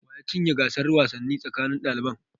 Wa ya cinye gasar wasanni tsakanin daliban?